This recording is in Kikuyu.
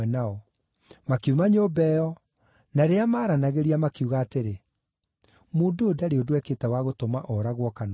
Makiuma nyũmba ĩyo, na rĩrĩa maaranagĩria, makiuga atĩrĩ, “Mũndũ ũyũ ndarĩ ũndũ ekĩte wa gũtũma ooragwo kana ohwo.”